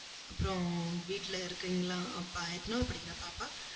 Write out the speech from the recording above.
அப்புறம் வீட்டுல இருக்கீங்களா? அப்பா, எத்தனையாவது படிக்கிறா பாப்பா?